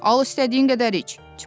Al istədiyin qədər iç.